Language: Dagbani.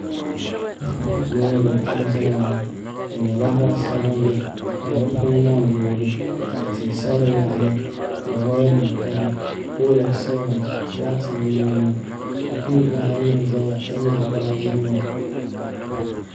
Loori n ʒɛya ŋo di nyɛla zaɣ sabinli ka di puni gaŋ yoogi ka tia sa di yaɣali ka woya nim gari pool n saya ŋo laati n nee ŋo shikuru bihi ayi n ʒɛya ka nyaɣa baaji nima